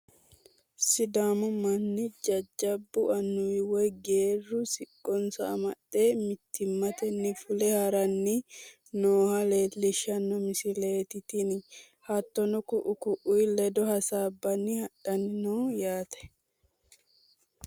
sidaamu manni jajjabbu annuwi woy geerru siqqonsa amaxxe mittimmatenni fule haranni nooha lellishshanno misileeti tini, hattono ku'u ku'ii ledo hasaabbanni hadhanni no yaate.